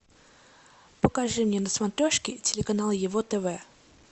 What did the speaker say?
покажи мне на смотрешке телеканал его тв